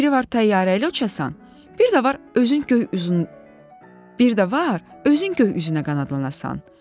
Biri var təyyarə ilə uçasan, bir də var özün göy üzünə qanadlanasan.